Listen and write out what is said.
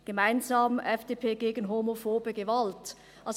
«Gemeinsam – FDP gegen homophobe Gewalt».